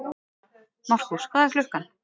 Markús, hvað er klukkan?